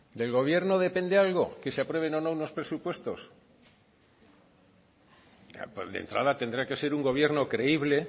del gobierno depende algo que se aprueben o no unos presupuestos de entrada tendrá que ser un gobierno creíble